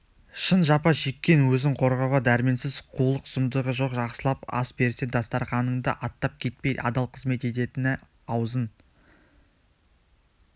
шын жапа шеккен өзін қорғауға дәрменсіз қулық-сұмдығы жоқ жақсылап ас берсең дастарқаныңды аттап кетпей адал қызмет ететіні аузын